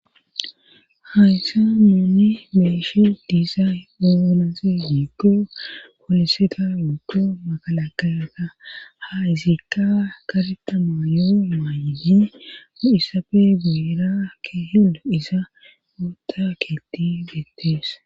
Hayssa muuni meeshi diizay ugunasi gikko poliseta giggo magala kayaga ha izikka karetama yo maayiyi o7issafe guyira ke helo iza gootaketi bettees.